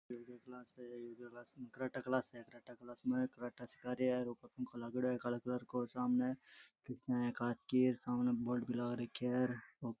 Yoga class है yoga class में karate class है क्रेटा क्लास में क्रेटा सीखा रिया है ऊपर पंखो लागेङो है काला कलर को सामने कांच की सामने बोर्ड भी लाग रखया है।